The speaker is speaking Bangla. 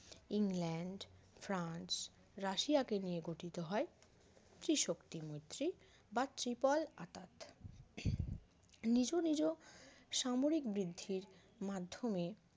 ইংল্যান্ড ফ্রান্স রাশিয়াকে নিয়ে গঠিত হয় ত্রিশক্তি মৈত্রী বা triple আঁতাত নিজ নিজ সামরিক বৃদ্ধির মাধ্যমে